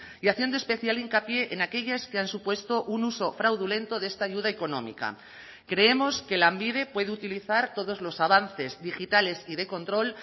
y haciendo especial hincapié en aquellas que han supuesto un uso fraudulento de esta ayuda económica creemos que lanbide puede utilizar todos los avances digitales y de control